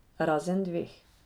Razen dveh.